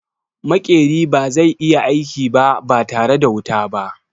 Maƙeri ba zai iya aiki ba tare da wuta ba.